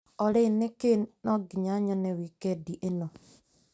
Olĩ nĩkĩĩ no nginya nyone wikendi ĩno?